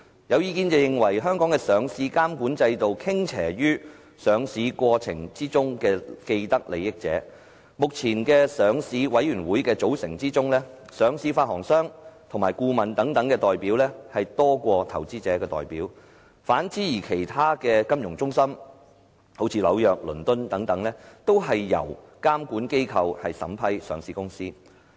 有意見認為香港的上市監管制度傾斜於上市過程之中的既得利益者，目前上市委員會的組成之中，上市發行商及顧問等代表多於投資者的代表，反而在倫敦及紐約等其他金融中心，都是由監管機構審批上市公司。